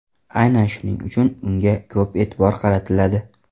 Aynan shuning uchun unga ko‘p e’tibor qaratiladi.